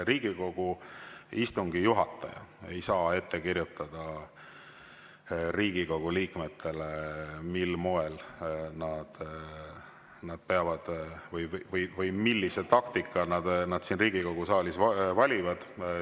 Riigikogu istungi juhataja ei saa ette kirjutada Riigikogu liikmetele, millise taktika nad siin Riigikogu saalis valivad.